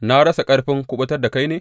Na rasa ƙarfin kuɓutar da kai ne?